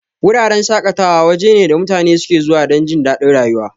Wuraren shaƙatawa waje ne da mutane suke zuwa dan jindadin rayuwa.